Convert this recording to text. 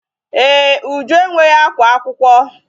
Ee, Uju enweghị akwa akwụkwọ.